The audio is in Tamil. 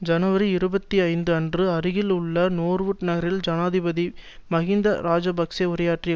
ஜனவரி இருபத்தி ஐந்து அன்று அருகில் உள்ள நோர்வுட் நகரில் ஜனாதிபதி மஹிந்த இராஜபக்ஷ உரையாற்றிய